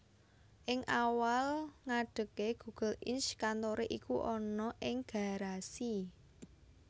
Ing awal ngadege Google Inc kantoré iku ana ing Garasi